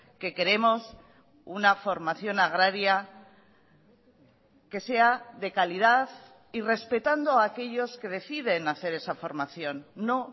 que queremos una formación agraria que sea de calidad y respetando a aquellos que deciden hacer esa formación no